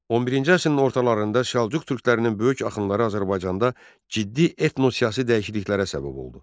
11-ci əsrin ortalarında Səlcuq türklərinin böyük axınları Azərbaycanda ciddi etno-siyasi dəyişikliklərə səbəb oldu.